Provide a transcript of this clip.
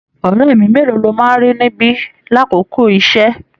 Ọrẹ mi mélòó lọ máa n rí níbi l'akoko iṣẹ?